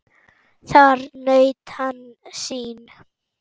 Þar naut hann sín.